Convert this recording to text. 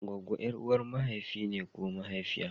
Goggo ƴar'uwar mahaifi ne ko mahaifiya.